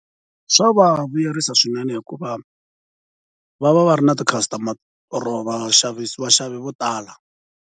Swa va vuyerisa swinene hikuva va va va ri na ti-customer or vaxavisi vaxavi vo tala.